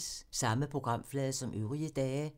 Samme programflade som øvrige dage